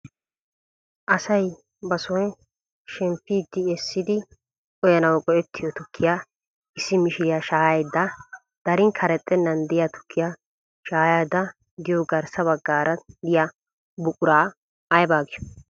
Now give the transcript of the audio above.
Asay ba soon shemppiidi eessidi uyanawu go"ettiyoo tukkiyaa issi mishiriyaa shaayayda darin karexxenan de'iyaa tukkiyaa shayayda diyoo garssa baggaara diyaa buquraa aybaa giyoo?